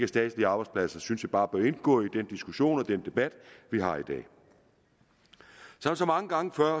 statslige arbejdspladser det synes jeg bare bør indgå i den diskussion i den debat vi har i dag som så mange gange før